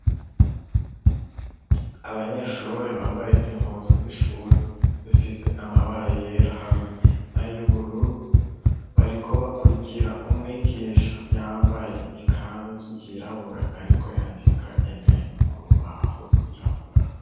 abanyeshure bambaye impunzu z'ishuri zifise amabara yera hamwe nay'ubururu, bariko bakurikira umwigisha yambaye ikanzu yirabura ariko yandika ibintu ku rubaho rwirabura.